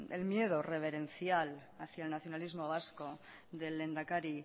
el miedo reverencial hacia el nacionalismo vasco del lehendakari